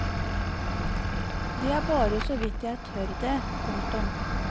Det er bare såvidt jeg tør det. punktum